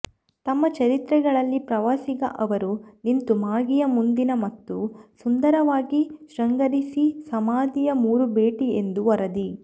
ತಮ್ಮ ಚರಿತ್ರೆಗಳಲ್ಲಿ ಪ್ರವಾಸಿಗ ಅವರು ನಿಂತು ಮಾಗಿಯ ಮುಂದಿನ ಮತ್ತು ಸುಂದರವಾಗಿ ಶೃಂಗರಿಸಿ ಸಮಾಧಿಯ ಮೂರು ಭೇಟಿ ಎಂದು ವರದಿ